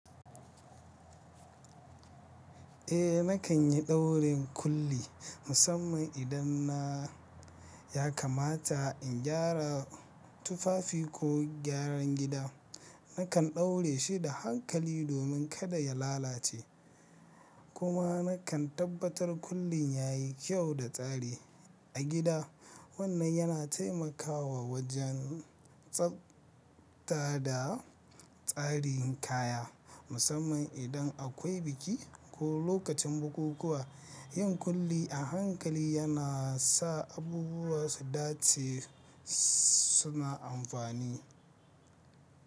Eh nakan yi daurin kulli, musamman idan na ya kamata in gyara tufafi ko gyaran gida. Nakan ɗaure shi da hankali domin kada ya lalace, kuma nakan tabbatar kullin yayi kyau da tsari a gida. Wannan yana taimakawa wajen tsafta da tsarin kaya, musamman idan akwai biki ko lokacin bukukuwa. Yin kulli a hankali yana sa abubuwa su dace suna amfani.